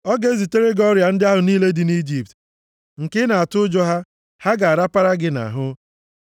Ọ ga-ezitere gị ọrịa ndị ahụ niile dị nʼIjipt, nke ị na-atụ ụjọ ha, ha ga-arapara gị nʼahụ.